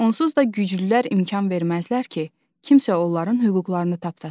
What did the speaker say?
Onsuz da güclülər imkan verməzlər ki, kimsə onların hüquqlarını tapdasın.